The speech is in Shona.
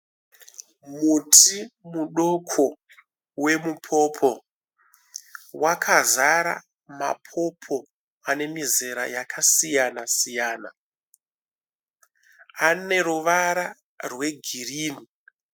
Muti mudoko wemupopo wakazara mapopo ane mizera yakasiyana siyana . Ane ruvara rwegirini